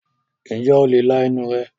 ǹjẹ́ o le la ẹnu rẹ̀?